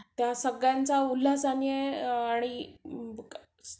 त्या सगळ्यांचा उल्हासाने आणि